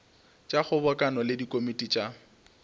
tša kgobokano le dikomiti tša